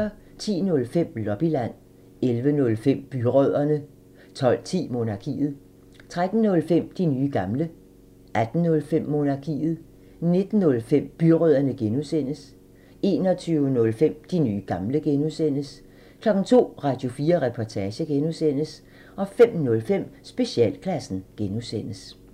10:05: Lobbyland 11:05: Byrødderne 12:10: Monarkiet 13:05: De nye gamle 18:05: Monarkiet 19:05: Byrødderne (G) 21:05: De nye gamle (G) 02:00: Radio4 Reportage (G) 05:05: Specialklassen (G)